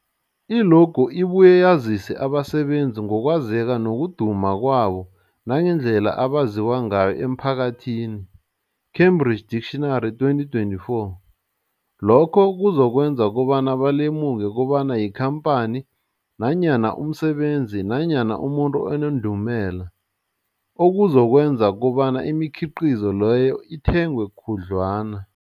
I-logo ibuye yazise abasebenzisi ngokwazeka nokuduma kwabo nangendlela abaziwa ngayo emphakathini, Cambridge Dictionary, 2024. Lokho kuzokwenza kobana balemuke kobana yikhamphani nanyana umsebenzi nanyana umuntu onendumela, okuzokwenza kobana imikhiqhizo leyo ithengwe khudlwana.